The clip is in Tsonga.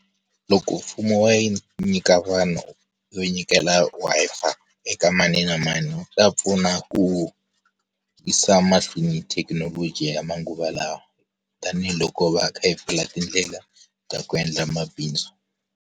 Loko mfumo wo nyika vanhu, wo nyikela Wi-Fi, eka mani na mani wu ta pfuna ku, yisa mahlweni thekinoloji ya manguva lawa. Tanihi loko hi va kha hi pfula tindlela, ta ku endla mabindzu.